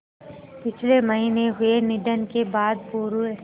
पिछले महीने हुए निधन के बाद पूर्व